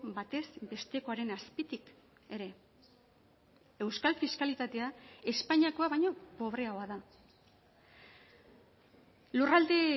batez bestekoaren azpitik ere euskal fiskalitatea espainiakoa baino pobreagoa da lurralde